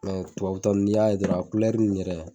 Tubabutanu n'i y'a dɔrɔn a yɛrɛ